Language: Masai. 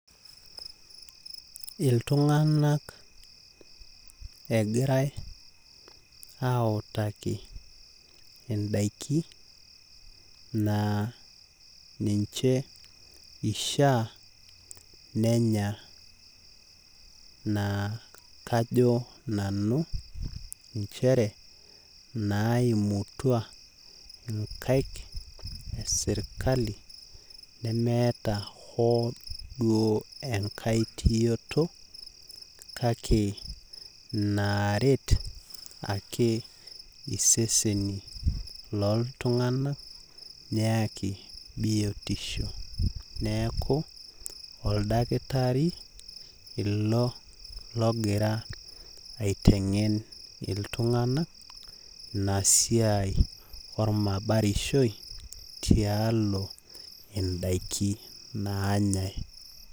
Iltunganak egirae autaki indaiki naa ninche ishaa nenya naa kajo nanu nchere naimutua nkaik esirkali neemeta hoo duo enkae tioto kake inaret ake isesen lolotunganak .Niaku oldakitari ilo ogira aitengen iltunganak ina siai ormabatishoi tialo indaiki naanyae .